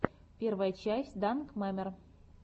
первая часть данкмемер